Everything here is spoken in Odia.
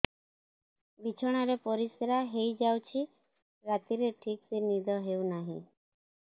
ବିଛଣା ରେ ପରିଶ୍ରା ହେଇ ଯାଉଛି ରାତିରେ ଠିକ ସେ ନିଦ ହେଉନାହିଁ